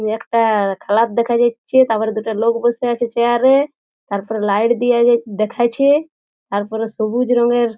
এই একটা খেলার দেখা যাচ্ছে তারপরে দুটো লোক বসে আছে চেয়ার এ তারপরে লাইট দিয়া দেখাইছে তারপরে সবুজ রং এর--